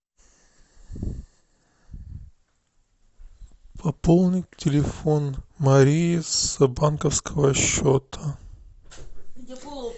пополнить телефон марии с банковского счета